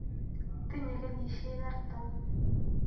Tinye kenyisyek artam.